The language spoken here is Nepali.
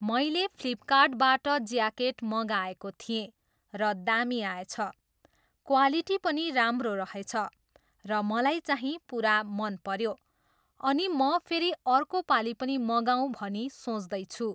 मैले फ्लिपकार्टबाट ज्याकेट मँगाएको थिएँ र दामी आएछ। क्वालिटी पनि राम्रो रहेछ र मलाई चाहिँ पुरा मन पऱ्यो। अनि म फेरि अर्को पालि पनि मगाऊँ भनी सोच्दैछु।